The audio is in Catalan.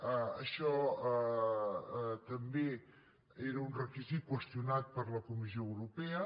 això també era un requisit qüestionat per la comissió europea